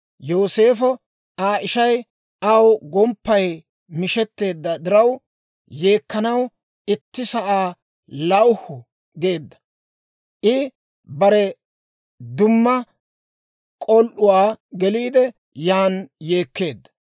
Yooseefo Aa ishay aw gomppay mishetteedda diraw, yeekkanaw itti sa'aa lawuhu geedda. I bare dumma k'ol"uwaa geliide yan yeekkeedda.